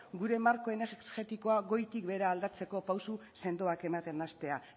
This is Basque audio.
gure marko energetikoa goitik behera aldatzeko pausu sendoak ematen hastea